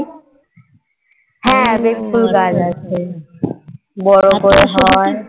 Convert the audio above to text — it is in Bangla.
হ্যাঁ বেল ফুল গাছ আছে